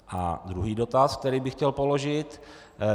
A druhý dotaz, který bych chtěl položit.